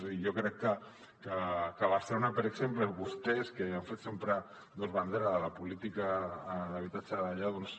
i jo crec que a barcelona per exemple vostès que han fet sempre bandera de la política d’habitatge d’allà doncs